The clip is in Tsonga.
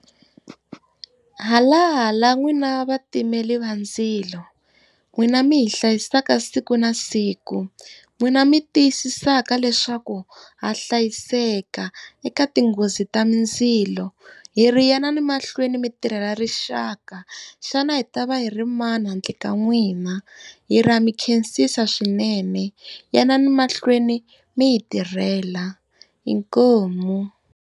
Halala n'wina vatimeri va ndzilo, n'wina mi hi hlayisaka siku na siku, n'wina mi tiyisisaka leswaku ha hlayiseka eka tinghozi ta mindzilo. Hi ri yanani mahlweni mi tirhela rixaka. Xana a hi ta va hi ri mani handle ka n'wina? Hi ri ha mikhensisa swinene. Yanani mahlweni mi hi tirhela. Inkomu.